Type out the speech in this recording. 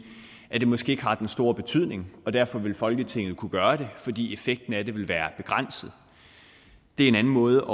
at det måske ikke har den store betydning og derfor vil folketinget kunne gøre det fordi effekten af det vil være begrænset det er en anden måde